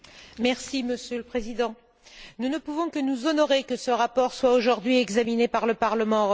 Monsieur le Président, nous ne pouvons que nous honorer que ce rapport soit aujourd'hui examiné par le Parlement européen.